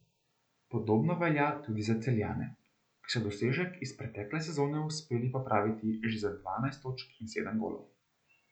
Podobno velja tudi za Celjane, ki so dosežek iz pretekle sezone uspeli popraviti že za dvanajst točk in sedem golov.